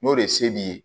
N'o de ye se b'i ye